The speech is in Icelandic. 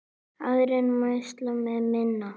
Aðrir mælast með minna.